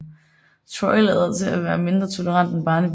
Troy lader til at være mindre tolerant end Barnaby